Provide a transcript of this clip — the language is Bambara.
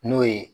N'o ye